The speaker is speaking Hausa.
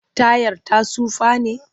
Tayar ta tsufa ne?